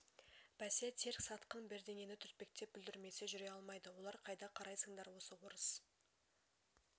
бәсе терк сатқын бірдеңені түртпектеп бүлдірмесе жүре алмайды олар қайда қарайсыңдар осы орыс